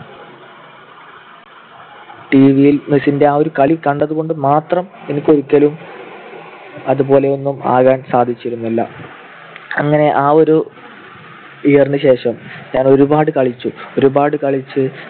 TV യിൽ മെസീന്റെ ആ ഒരു കളി കണ്ടതുകൊണ്ടു മാത്രം എനിക്ക് ഒരിക്കലും അതുപോലെയൊന്നും ആവാൻ സാധിച്ചിരുന്നില്ല. അങ്ങനെ ആ ഒരു year നുശേഷം ഞാൻ ഒരുപാട് കളിച്ചു. ഒരുപാട് കളിച്ച്